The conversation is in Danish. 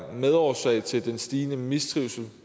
medårsag til den stigende mistrivsel